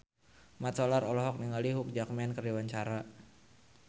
Mat Solar olohok ningali Hugh Jackman keur diwawancara